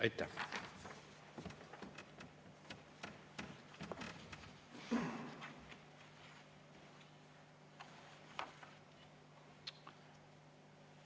Aitäh!